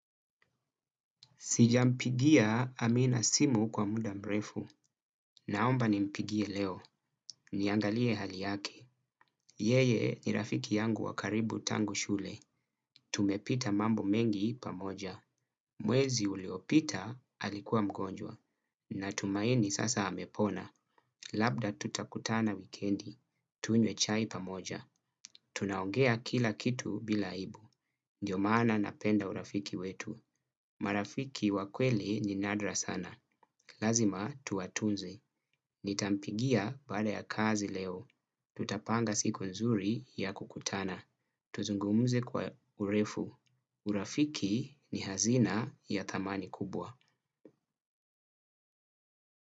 Sijampigia Amina simu kwa mda mrefu. Naomba nimpigie leo. Niangalie hali yake. Yeye ni rafiki yangu wakaribu tangu shule. Tumepita mambo mengi pamoja. Mwezi uliopita, alikuwa mgonjwa. Natumaini sasa amepona. Labda tutakutana wikendi. Tunywe chai pamoja. Tunaongea kila kitu bila aibu. Ndio maana napenda urafiki wetu. Marafiki wa kweli ni nadra sana. Lazima tuwatuze. Nitampigia baada ya kazi leo. Tutapanga siku nzuri ya kukutana. Tuzungumuze kwa urefu. Urafiki ni hazina ya thamani kubwa.